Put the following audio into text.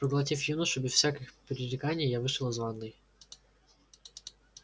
проглотив юношу без всяких пререканий я вышел из ванной